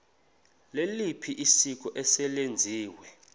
liliphi isiko eselenziwe